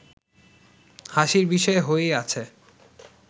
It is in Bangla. হাসির বিষয় হয়েই আছে